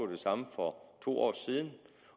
det samme for to år siden